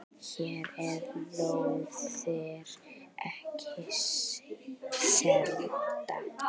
Hér eru lóðir ekki seldar.